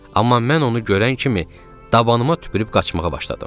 Amma mən onu görən kimi dabanıma tüpürüb qaçmağa başladım.